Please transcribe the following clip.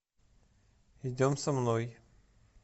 идем со мной